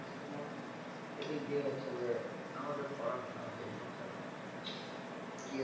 দেখছিনা এদিক দিয়ে হচ্ছে যে আমাদের পড়াশুনা শেষ হচ্ছেনা